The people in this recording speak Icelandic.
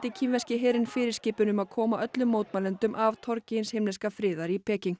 kínverski herinn fyrirskipun um að koma öllum mótmælendum af torgi hins himneska friðar í Peking